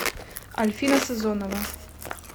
альфина сазонова